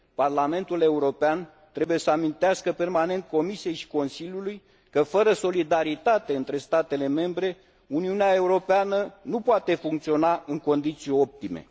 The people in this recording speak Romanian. Parlamentul European trebuie să amintească permanent Comisiei și Consiliului că fără solidaritate între statele membre, Uniunea Europeană nu poate funcționa în condiții optime.